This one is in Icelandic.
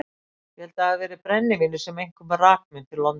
Ég held að það hafi verið brennivínið sem einkum rak mig til London.